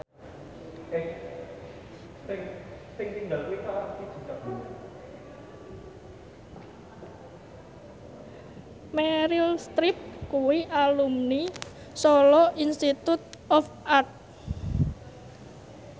Meryl Streep kuwi alumni Solo Institute of Art